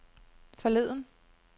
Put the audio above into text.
forleden